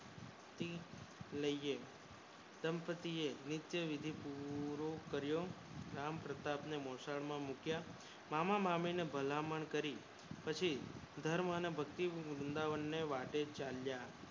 માળીયે દંપતી એ ઉહ કર્યો અને આમ પ્રપાત ને મોસાળ માં મુક્યા મામા મામી ને ભલામણ કરી પછી ઘરે થી વૃંદાવને ને વાતે ચાલ્યા